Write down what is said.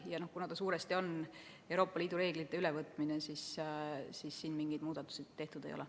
Ja kuna tegemist on suuresti Euroopa Liidu reeglite ülevõtmisega, siis siin mingeid muudatusi tehtud ei ole.